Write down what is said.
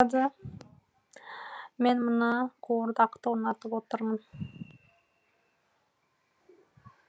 мен мына қуырдақты ұнатып отырмын